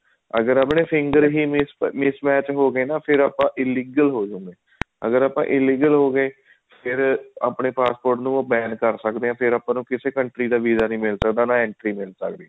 ਅਗਰ ਆਪਣੇ finger ਹੀ miss match ਹੋਗੇ ਨਾ ਫ਼ੇਰ ਆਪਾਂ illegal ਹੋ ਜਾਂਦੇ ਹਾਂ ਅਗਰ ਆਪਾਂ illegal ਹੋਗੇ ਫ਼ੇਰ ਆਪਣੇ passport ਨੂੰ ban ਕਰ ਸਕਦੇ ਹਾਂ ਫ਼ੇਰ ਆਪਾਂ ਨੂੰ ਕਿਸੇ country ਦਾ visa ਨੀ ਮਿਲ ਸਕਦਾ ਨਾ entry ਮਿਲ ਸਕਦੀ ਹੈ